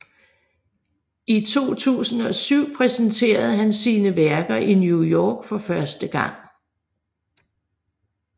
I 2007 præsenterede han sine værker i New York for første gang